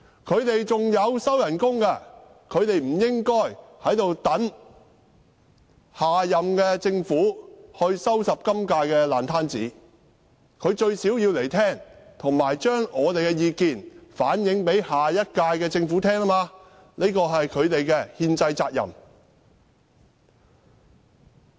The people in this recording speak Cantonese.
他們仍在收取薪酬，他們不應等下任政府來收拾今屆政府的爛攤子，他們最低限度要出席聆聽，並把我們的意見反映給下屆政府，這是他們的憲制責任。